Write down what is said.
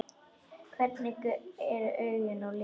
Hvernig eru augun á litinn?